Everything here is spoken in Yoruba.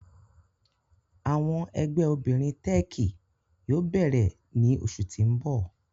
Awọn ẹgbẹ obinrin Teeki yoo beere ni oṣu ti n bọ.